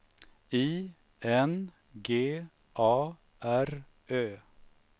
I N G A R Ö